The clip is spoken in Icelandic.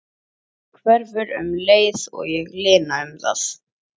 En hverfur um leið og ég lina það.